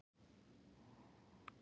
Ég yrði að leiðrétta málið.